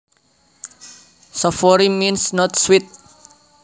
Savoury means not sweet